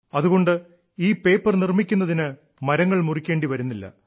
അതുകൊണ്ട് ഈ പേപ്പർ നിർമ്മിക്കുന്നതിന് മരങ്ങൾ മുറിക്കേണ്ടി വരുന്നില്ല